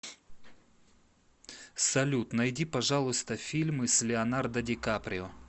салют найди пожалуйста фильмы с леонардо дикаприо